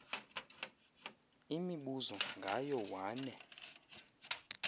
imibuzo ngayo wane